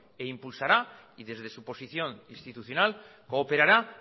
e impulsará y desde su posición institucional cooperará